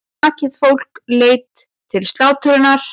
Nakið fólk leitt til slátrunar.